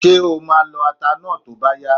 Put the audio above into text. Ṣé o máa lọ ata náà tó bá yá?